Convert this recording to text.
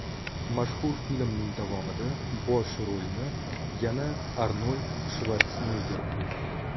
Mashhur filmning davomida bosh rolni yana Arnold Shvarsenegger o‘ynadi.